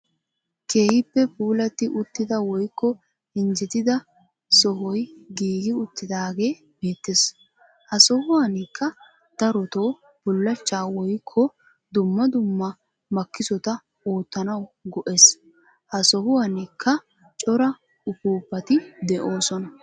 Keehippe puulatti uttida woykko injjetida sohoy giigi uttidaagee beettees. Ha sohuwaanikka darotoo bullachchaa woykko dumma dumma makisotta oottanawu go'ees. Ha sohuwaanikka cora upuupati de'oosona.